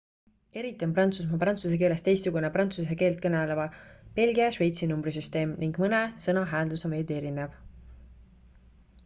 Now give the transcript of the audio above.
eriti on prantsusmaa prantsuse keelest teistsugune prantsuse keelt kõneleva belgia ja šveitsi numbrisüsteem ning mõne sõna hääldus on veidi erinev